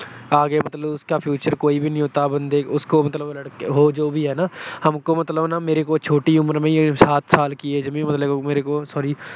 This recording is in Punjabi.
ਆਗੇ ਮਤਲਬ ਉਸਕਾ future ਕੋਈ ਵੀ ਨਹੀਂ ਹੋਤਾ। ਬੰਦੇ ਉਸਕੋ ਮਤਲਬ ਲੜਕੇ ਬੋਅ ਜੋ ਵੀ ਹੈ ਨਾ, ਹਮਕੋ ਮਤਲਬ ਮੇਰੇ ਕੋ ਛੋਟੀ ਉਮਰ ਮੇ ਹੀ, ਸਾਤ ਸਾਲ ਕੀ age ਮੇਂ ਹੀ ਮੇਰੇ ਕੋ sorry